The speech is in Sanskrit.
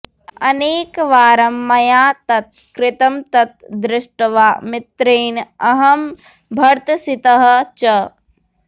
अनेकवारं मया तत् कृतं तत् दृष्ट्वा मित्रेण अहं भर्त्सितः च